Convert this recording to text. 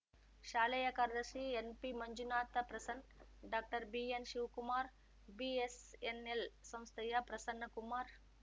ಶಾಲೆಯ ಕಾರ್ಯದರ್ಶಿ NP Manjunath Prasan doctor BN Shivakumar BSNL ಸಂಸ್ಥೆಯ ಪ್ರಸನ್ನಕುಮಾರ್‌